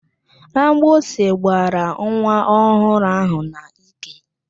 Agbịsị gbara nwa ọhụrụ ahụ n'ike.